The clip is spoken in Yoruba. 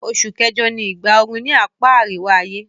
Osù kẹ́jọ ni ìgbà oru ni apá àríwá-ayé